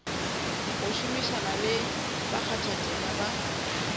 go šomišana le bakgathatema ba